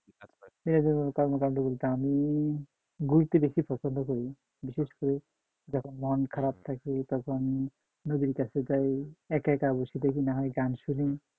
বিনোদন কর্মকাণ্ড বলতে আমি ঘুরতে বেশি পছন্দ করি বিশেষ করে যখন মন খারাপ থাকে তখন নদীর কাছে যায় একা একা বসে থাকি না হয় গান শুনি